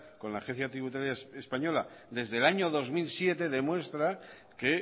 con la agencia tributaria española desde el año dos mil siete demuestra que